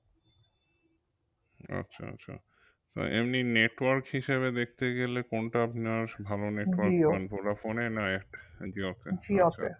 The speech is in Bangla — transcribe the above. আচ্ছা আচ্ছা এমনি network হিসেবে দেখতে গেলে কোনটা নেওয়া ভালো ভোডাফোনে না জিওতে